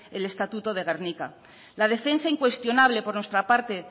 el estatuto de gernika la defensa incuestionable por nuestra parte